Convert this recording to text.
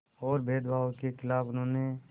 और भेदभाव के ख़िलाफ़ उन्होंने